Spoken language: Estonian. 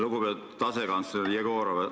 Lugupeetud asekantsler Jegorov!